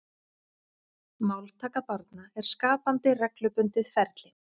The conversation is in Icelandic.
Máltaka barna er skapandi reglubundið ferli.